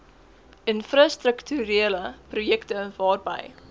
infrastrukturele projekte waarby